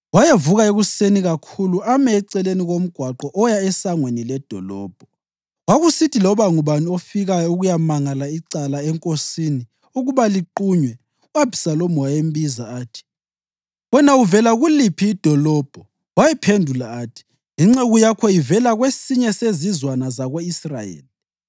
Wayevuka ekuseni kakhulu ame eceleni komgwaqo oya esangweni ledolobho. Kwakusithi loba ngubani ofikayo ukuyamangala icala enkosini ukuba liqunywe, u-Abhisalomu wayembiza athi, “Wena uvela kuliphi idolobho?” Wayephendula athi, “Inceku yakho ivela kwesinye sezizwana zako-Israyeli.”